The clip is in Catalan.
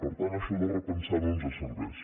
per tant això de repensar ho no ens serveix